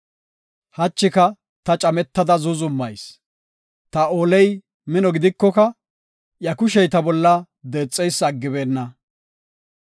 Hachika ta cametada zuuzumayis; ta ooley mino gidikoka iya kushey ta bolla deexeysa aggibeenna.